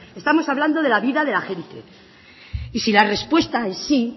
estamos hablando de la vida de la gente y si la respuesta es sí